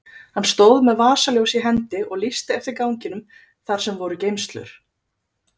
Hann stóð með vasaljós í hendi og lýsti eftir ganginum þar sem voru geymslur.